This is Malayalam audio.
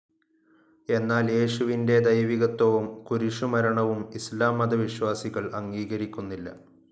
എന്നാൽ യേശുവിൻ്റെ ദൈവികത്വവും കുരിശുമരണവും ഇസ്ലാം മതവിശ്വാസികൾ അംഗീകരിക്കുന്നില്ല.